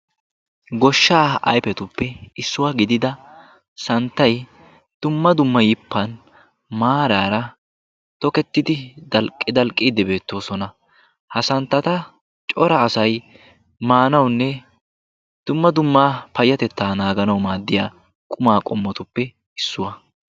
goshshaa ayifetuppe issuwa gidida santtay dumma dumma yippan maaraara tokettidi dalqqi dalqqiiddi beettoosona. ha santtata cora asay maanawunne dumma dumma payyatettaa naaganawu maaddiya qumaa qommotuppe issuwa.